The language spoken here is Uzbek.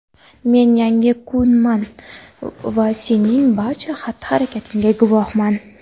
men yangi kunman va sening barcha xatti-harakatingga guvohman.